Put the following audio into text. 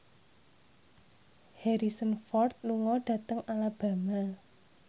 Harrison Ford lunga dhateng Alabama